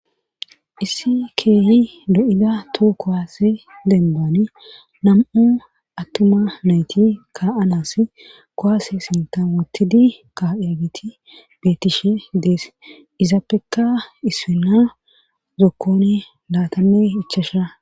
isse keeyi do7ida too kowaase denbani nam7u attuma nayti ka7anas kowaase sintamotidi ka7iyagiti beetishe dees izappeka ispinna zokkoni laatame ichasha